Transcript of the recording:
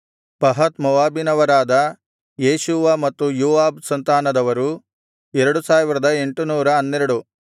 ಪಹತ್ ಮೋವಾಬಿನವರಾದ ಯೇಷೂವ ಮತ್ತು ಯೋವಾಬ್ ಸಂತಾನದವರು 2812